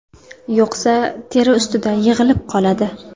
Yo‘qsa, teri ustida yig‘ilib qoladi.